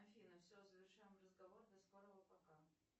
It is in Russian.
афина все завершаем разговор до скорого пока